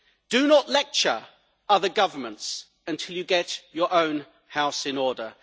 Do not lecture other governments until you get your own house in order.